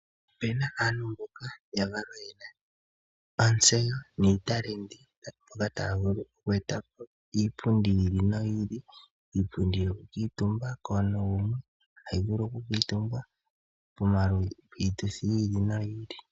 Opu na aantu mboka ya valwa ye na ontseyo niitalenti, taya vulu oku eta po iipundi yi ili noyi ili. Iipundi yokukuutumbwa komuntu gumwe, hayi vulu okukuutumbwa piituthi yi ili noyi ili.